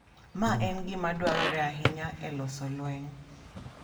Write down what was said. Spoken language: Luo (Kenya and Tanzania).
Ma en gima dwarore ahinya e loso lweny.